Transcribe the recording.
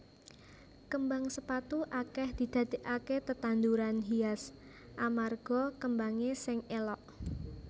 Kembang sepatu akèh didadèkaké tetanduran hias amarga kembangé sing élok